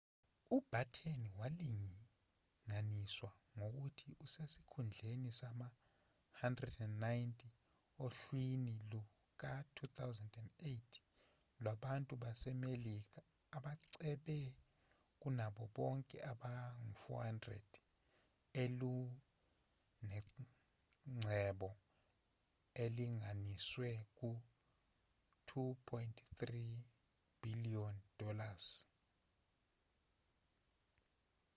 ubatten walinganiswa ngokuthi usesikhundleni sama-190 ohlwini luka-2008 lwabantu basemelika abacebe kunabo bonke abangu-400 elunengcebo elinganiselwa ku-$2.3 bhiliyoni